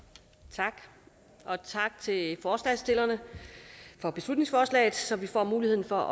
tak og tak til forslagsstillerne for beslutningsforslaget så vi får muligheden for